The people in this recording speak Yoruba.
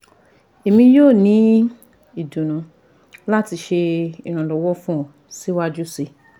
Emi yoo ni idunnu lati ṣe iranlọwọ fun ọ siwaju sii